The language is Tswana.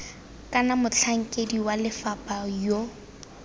kana motlhankedi wa lefapha yo